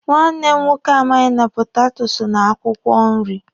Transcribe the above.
Nwanne m nwoke amaghị na potato so na akwụkwọ nri.